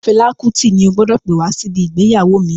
Fela Kuti ni o gbọdọ̀ pè wá sí ibi ìgbéyàwó mi.